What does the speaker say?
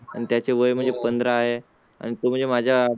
आणि त्याचे वय म्हणजे पंधरा आहे आणि तो म्हणजे माझ्या